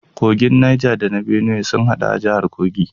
Kogin Niger da na Benue sun hadu a jahar Kogi